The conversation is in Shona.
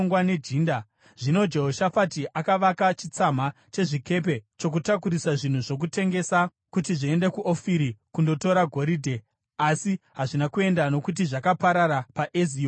Zvino Jehoshafati akavaka chitsama chezvikepe chokutakurisa zvinhu zvokutengesa kuti zviende kuOfiri kundotora goridhe, asi hazvina kuenda nokuti zvakaparara paEzioni Gebheri.